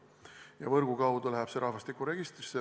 Ja võrgu kaudu läheb see info rahvastikuregistrisse.